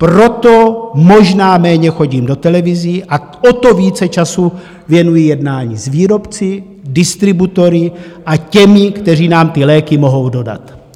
Proto možná méně chodím do televizí a o to více času věnuji jednání s výrobci, distributory a těmi, kteří nám ty léky mohou dodat.